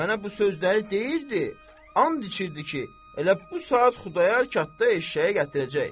Mənə bu sözləri deyirdi, and içirdi ki, elə bu saat Xudayar qatda eşşəyi gətirəcək.